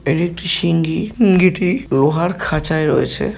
এটি একটি সিঙ্গি সিঙ্গিটি লোহার খাঁচায় রয়েছে ।